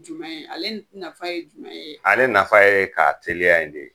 Jumɛn ye, ale nafa ye jumɛn ye? Ale nafa ye ka teliya in de ye.